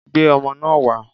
Gbé ọmọ náà wá!